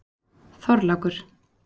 Þorlákur